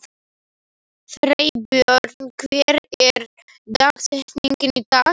Freybjörn, hver er dagsetningin í dag?